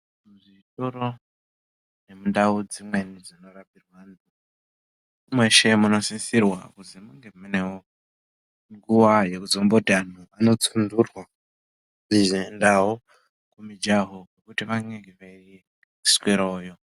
Muzvitoro nemundau dzimweni dzinorapirwa antu mweshe munosisirwa kuzi munge munewo nguwa yekuzomboti antu anotsunturwa ozoendawo kumujaho kwekuti vanenge veiswerawoyo.